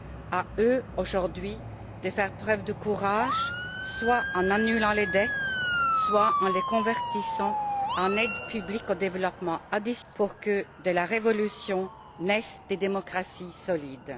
À eux aujourd'hui de faire preuve de courage, soit en annulant les dettes, soit en les convertissant en complément d'aide publique au développement pour que de la révolution naissent des démocraties solides.